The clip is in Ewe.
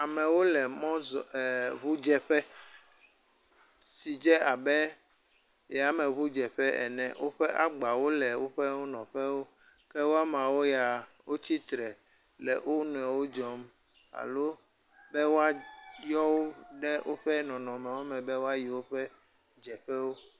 Amewo le ŋu dze ƒe, si dze abe yame ɔu dze ƒe ene. Woƒe agbawo le woƒe nɔƒewo ke yamawo, wotsi tre le wo nɔewo dzɔm alo be woa yɔ wo le woƒe nɔnɔme wo me be woa yi woƒe dzeƒewo.